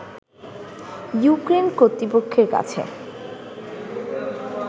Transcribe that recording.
Ukraine কর্তৃপক্ষের কাছে